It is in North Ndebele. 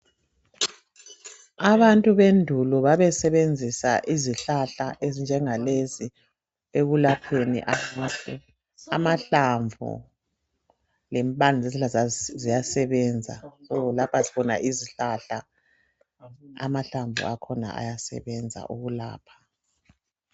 Abantu bendula babe sebenzisa izihlahla ezinje ngalezi ekulapheni abantu, amahlamvu lempande zakhona ziyasebenza lapha sibona izihlahla ama hlamvu akhona ayasebenza ukulapha.